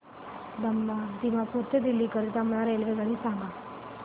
दिमापूर ते दिल्ली करीता मला रेल्वेगाडी सांगा